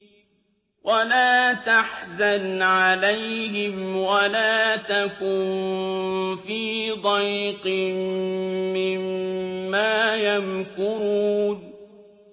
وَلَا تَحْزَنْ عَلَيْهِمْ وَلَا تَكُن فِي ضَيْقٍ مِّمَّا يَمْكُرُونَ